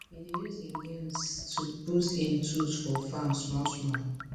e dey use him gains to boost him tools for farm small small